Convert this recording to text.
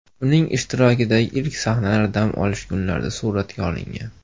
Uning ishtirokidagi ilk sahnalar dam olish kunlarida suratga olingan.